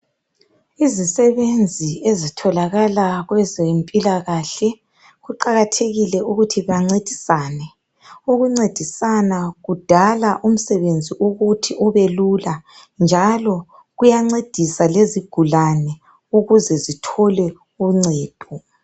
Izisebenzi ezitholakala kwezempilakahle kuqakathekile ukuthi bancedisane. Ukuncedisana kudala umsebenzi ukuthi ubelula, njalo kuyancedisa lezigulane ukuze zithole uncedo.